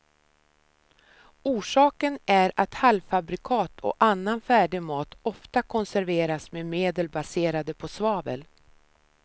Orsaken är att halvfabrikat och annan färdig mat ofta konserveras med medel baserade på svavel.